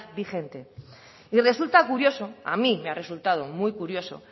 vigente y resulta curioso a mí me ha resultado muy curioso